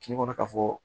Kungo kɔnɔ ka fɔ